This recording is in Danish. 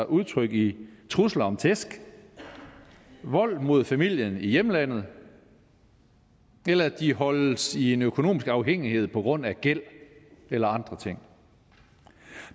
udtryk i trusler om tæsk vold mod familien i hjemlandet eller at de holdes i en økonomisk afhængighed på grund af gæld eller andre ting